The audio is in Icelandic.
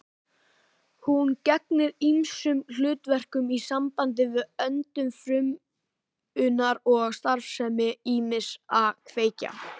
Hún gegnir ýmsum hlutverkum í sambandi við öndun frumunnar og starfsemi ýmissa kveikja.